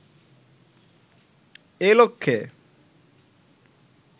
এ লক্ষ্যে